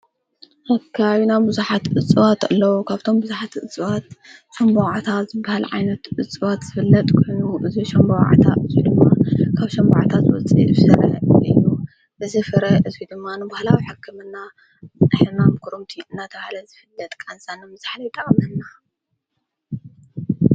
ኣካ ዩና ብዙኃት እፅዋት ኣለዉ ኻብቶም ብዙኃቲ እፅዋት ሸንበዋዓታ ዘበሃል ዓይነቱ እፅዋት ዘፍለጥ ኲኑ እዙ ሸንበዋዓታ እዙይ ድማ ካብ ሸንባዓታ ዘወፂ ፍሠረ ኢኑ ብዝፍረ እዙይ ድማኑ ብሃላ ዊሓከምና ኣሕማም ኲሩምቱ እናተውሃለ ዝፍለጥ ቃንሳኖ ንምዝሓል ይጠቅመና።